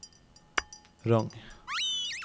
Rong